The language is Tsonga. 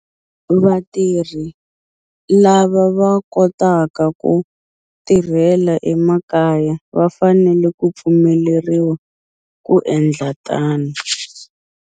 Vatirhi lava va kotaka ku tirhela emakaya va fanele ku pfumeleriwa ku endla tano.